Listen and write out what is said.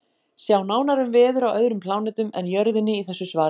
Sjá nánar um veður á öðrum plánetum en Jörðinni í þessu svari.